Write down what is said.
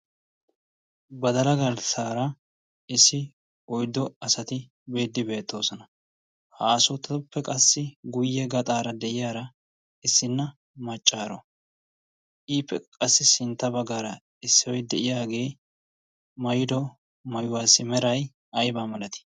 badala garssaara issi oiddo asati beeddi beettoosona haasoottatoppe qassi guyye gaxaara de'iyaara issinna maccaaro iippe qassi sintta baggaara issioi de'iyaagee mairo mauwaasi merai aiba malati